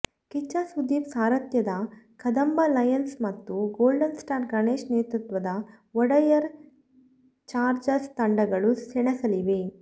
ಕಿಚ್ಚ ಸುದೀಪ್ ಸಾರಥ್ಯದ ಕದಂಬ ಲಯನ್ಸ್ ಮತ್ತು golden star Ganesh ನೇತೃತ್ವದ ಒಡೆಯರ್ ಚಾರ್ಜರ್ಸ್ ತಂಡಗಳು ಸೆಣಸಲಿವೆ